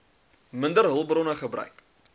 minder hulpbronne gebruik